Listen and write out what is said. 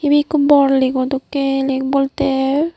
ibe ekko bor lake o dokke lake bolte.